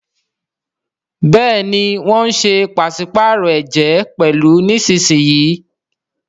Béèni wón ṣe paṣipaarọ ẹjẹ pẹlu nísìsiyìí.